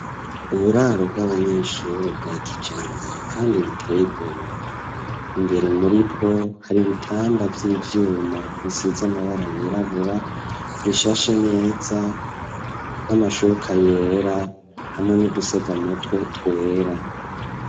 Uburaro bw'abanyeshure, bwa kijambere, kandi buteye igomwe; imbere muri bwo, hari ibitanda, vy'ivyuma, bisize amabara yirabura; bishashe neza, n'amashuka yera, hamwe n'udusegamutwe, twera.